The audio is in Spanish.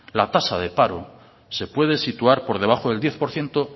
la tasa de paro se puede situar por debajo del diez por ciento